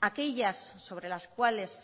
aquellas sobre las cuales